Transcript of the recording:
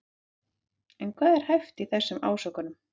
En hvað er hæft í þessum ásökunum?